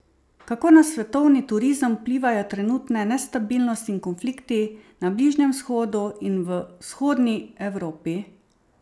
Kako na svetovni turizem vplivajo trenutne nestabilnost in konflikti na Bližnjem vzhodu in v vzhodni Evropi?